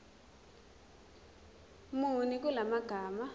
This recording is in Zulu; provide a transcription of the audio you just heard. muni kula magama